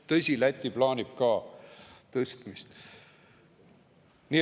Tõsi küll, Läti plaanib ka tõstmist.